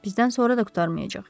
Bizdən sonra da qurtarmayacaq.